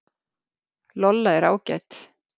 Lolla er ágæt.